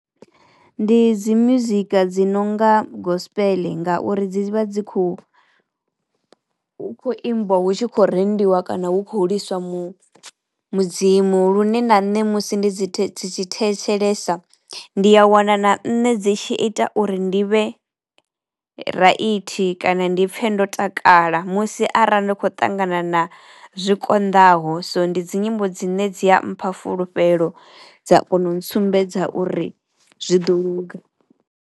Ndi dzi muzika dzi nonga gospel ngauri dzi vha dzi khou hu khou imbiwa hu tshi khou rendiwa kana hu khou liswa mu mudzimu lune na nne musi ndi dzi thetshelesa. Ndi a wana na nṋe dzi tshi ita uri ndi vhe raithi kana ndi pfhe ndo takala musi arali ndi kho ṱangana na zwikonḓaho so ndi dzi nyimbo dzine dzi a mpha fulufhelo dza kono u ntsumbedza uri zwi ḓo luga.